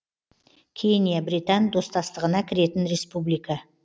кения британ достастығына кіретін республика